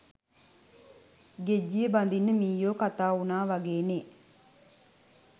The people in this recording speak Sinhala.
ගෙජ්ජිය බඳින්න මීයෝ කතා උනා වගේනේ.